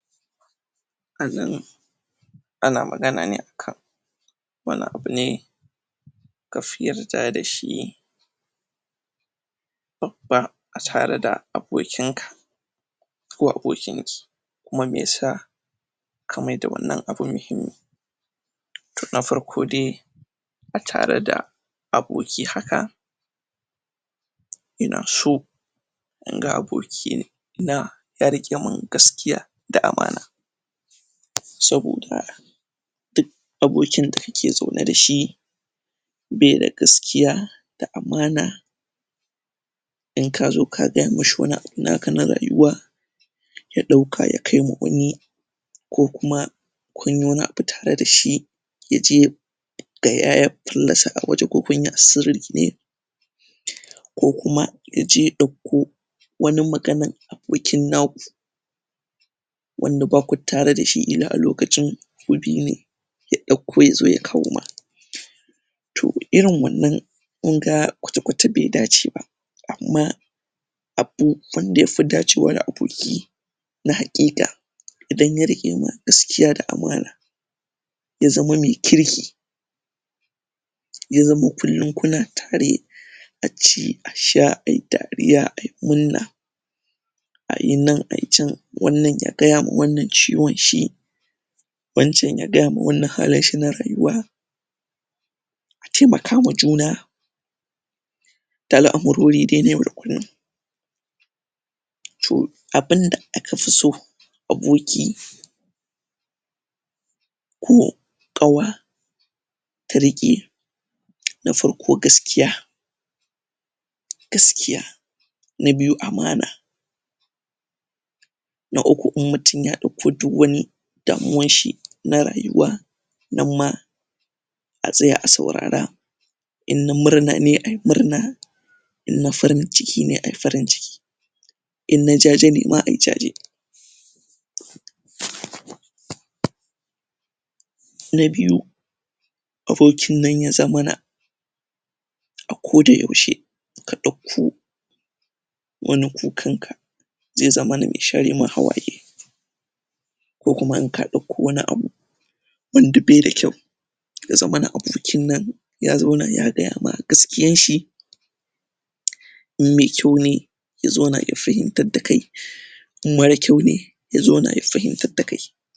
anan ana magana ne akan wani abune kafi yarda dashi a tare da abokinka ko abokinki kuma meyasa ka maida wannan abun mahimmi to na farko dai a tare da aboki haka ina so inga aboki ya rikemun gaskiya da amana saboda duk abokin da ake zaune dashi be da gaskiya da amana in ka zo ka gaya mashi wani abu naka na rayuwa ya dauka ya kai ma wani ko kuma kunyi wani abu tare dashi yaje gaya ya fallasa a waje ko kunyi a sirri ne?? ko kuma yaje ya dauko wani magana abokin naku wanda baku tare dashi ila lokacin ku biyune ya dauko ya zo ya kawo ma to irin wannan kunga kwata kwata be dace ba amma abu abubuwan da yafi dacewa da aboki na hakika idan ya rike ma gaskiya da amana ya zama me kirki ya zama kullum kuna tare aci a sha ayi dariya ayi murna ayi nan ayi chan wanda ya gaya ma wannan ciwonshi waccan ya gaya ma wannan halinshi na rayuwa a taimaka ma juna da al'amurori dai na yau da kullum to abunda akafi so aboki ko qawa ta rike na farko gaskiya gaskiya na biyu amana na uku in mutum ya dauko duk wani damuwan shi na rayuwa nan ma a tsaya a saurara in na murna ne ayi murna in na farin cikine ayi farin ciki in nan jaje ne ma ayi jaje????? na biyu aboki nan ya zamana ako da yaushe ka dauko wani kukanka zai zamana me share ma hawaye ko kuma in ka dauko wani abu wanda be da kyau ya zamana abokin nan ya zauna ya gaya ma gaskiyan shi? in me kyau ne ya zauna ya fahimtar dakai in mara kyau ne ya zauna ya fahimtar da kai